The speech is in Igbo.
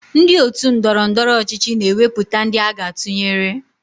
Ndị otu ndọrọndọrọ ọchịchị na-ewepụta ndị aga atụnyere